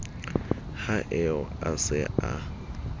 ha eo a se a